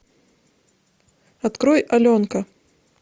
открой аленка